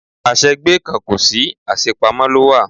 Àṣẹ gbé kan kò sí, àṣe pamọ́ ló wà.